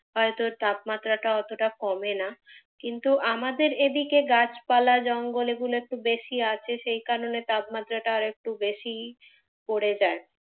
হয়ত তাপমাত্রা টা অতটা কমে না। তবে আমাদের এইদিকে গাছপালাটা একটু বেশী আছে তাই তাপমাত্রা টা একটু বেশী পড়ে যায়ড়ে